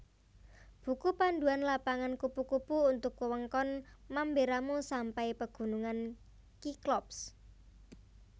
Buku Panduan Lapangan Kupu kupu untuk Wewengkon Mamberamo sampai Pegunungan Cyclops